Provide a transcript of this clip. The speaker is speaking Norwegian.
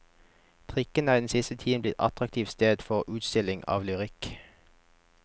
Trikken er den siste tiden blitt et attraktivt sted for utstilling av lyrikk.